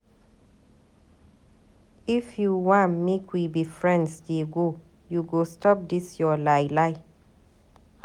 If you wan make we be friends dey go, you go stop dis your lie-lie.